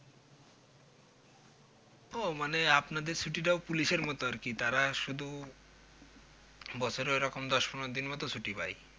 ও আপনাদের ছুটিটাও Police এর মতো আরকি তারা শুধু বছরে ওইরকম দশ পনেরো দিন মতো ছুটি পায়